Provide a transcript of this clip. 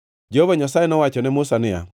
Jehova Nyasaye nowacho ne Musa niya,